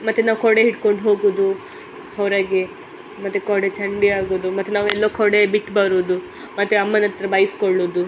ಮತ್ತೆ ನಾವು ಕೊಡೆ ಹಿಡ್ಕೊಂಡು ಹೋಗುದು. ಹೊರಗೆ ಮತ್ತೆ ಕೊಡೆ ಚಂಡಿ ಆಗೋದು. ಮತ್ತ್ ನಾವು ಎಲ್ಲ ಕೊಡೆ ಬಿಟ್ಟು ಬರೋದು. ಮತ್ತೆ ಅಮ್ಮನ ಹತ್ತಿರ ಬೈಸ್ಕೊಳ್ಳೊದು --